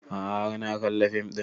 A'a har na kalla fim ɗin